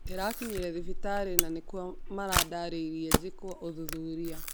Ndĩrakinyire thibitarĩ, na nikuo marandarire njĩkwo ũthuthuria